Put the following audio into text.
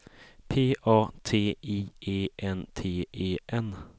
P A T I E N T E N